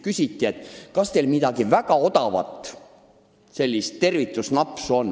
Küsiti, kas teil väga odavat tervitusnapsu on.